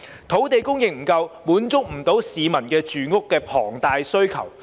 土地供應不足，無法滿足市民龐大的住屋需求。